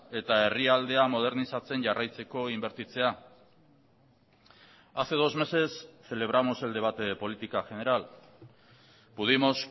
eta herrialdea modernizatzen jarraitzeko inbertitzea hace dos meses celebramos el debate de política general pudimos